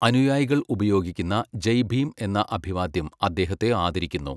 അനുയായികൾ ഉപയോഗിക്കുന്ന 'ജയ് ഭീം' എന്ന അഭിവാദ്യം അദ്ദേഹത്തെ ആദരിക്കുന്നു.